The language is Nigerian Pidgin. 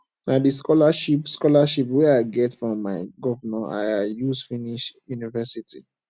na di scholarship scholarship wey i get from my governor i use finish university